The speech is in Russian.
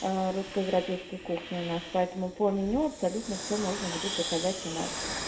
русско-европейские кухни у нас поэтому по меню абсолютно всё можно будет заказать у нас